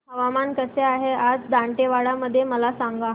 हवामान कसे आहे आज दांतेवाडा मध्ये मला सांगा